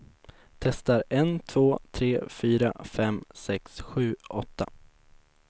Testar en två tre fyra fem sex sju åtta.